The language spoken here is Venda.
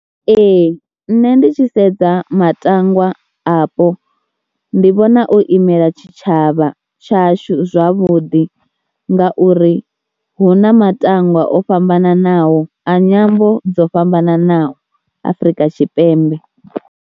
Ee nṋe ndi tshi sedza matangwa apo ndi vhona o imela tshitshavha tshashu zwavhuḓi ngauri hu na matangwa o fhambananaho a nyambo dzo fhambananaho Afrika Tshipembe.